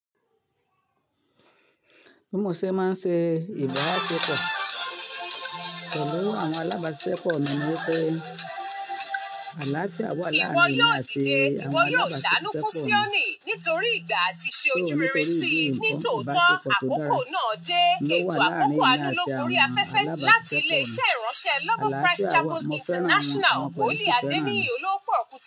Bí mo ṣe máa ń ṣe ìbáṣépọ̀ pẹ̀lú àwọn alábàáṣiṣẹ́pọ̀ mi ní wípé àlàáfíà wà láàárín èmi àti àwọn alábàáṣiṣẹ́pọ̀ mi. Ìpọ yóò dì, ìpọ yóò ṣánú fún Sioni nítorí ìgbà àti ṣe ojúmìrì sí ní tòótọ́ àkókò náà dé. Ètò àkókò àánú ló gbé orí afẹ́fẹ́ láti ilé iṣẹ́ ìránṣẹ́ Love of Christ Chapel International, Olú Adéníyì Ológbòròkù.